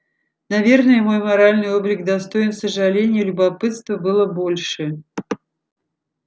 наверное мой моральный облик достоин сожаления любопытства было больше